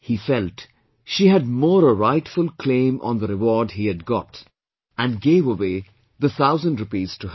He felt she had more a rightful claim on the reward he had got and gave away the thousand rupees to her